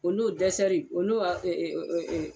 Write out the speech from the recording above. O n'o o n'o eee eee eee